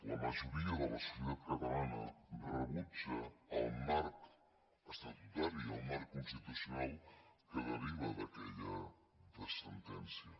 la majoria de la societat catalana rebutja el marc estatutari el marc constitucional que deriva d’aquella sentència